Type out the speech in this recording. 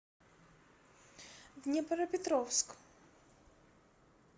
днепропетровск